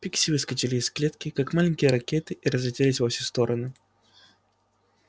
пикси выскочили из клетки как маленькие ракеты и разлетелись во все стороны